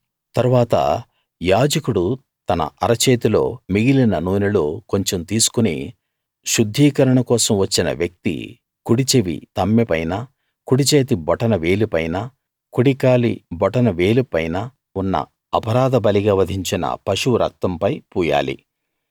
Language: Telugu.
తరువాత యాజకుడు తన అరచేతిలో మిగిలిన నూనెలో కొంచెం తీసుకుని శుద్ధీకరణ కోసం వచ్చిన వ్యక్తి కుడిచెవి తమ్మె పైన కుడిచేతి బొటన వేలిపైన కుడి కాలి బొటన వేలిపైన ఉన్న అపరాధ బలిగా వధించిన పశువు రక్తంపై పూయాలి